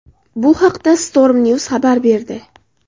Bu haqda Stormnews xabar berdi .